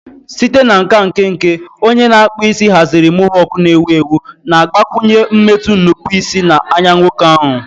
Site na nka nkenke, onye na-akpụ isi haziri mohawk na-ewu ewu, na-agbakwụnye mmetụ nnupụisi na anya nwoke ahụ.